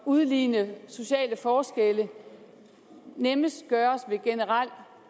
udligne sociale forskelle nemmest gøres ved generel